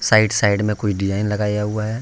Side side में कोई design लगाया हुआ है।